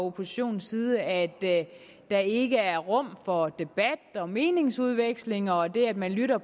oppositionens side at der ikke er rum for debat og meningsudveksling og det at man lytter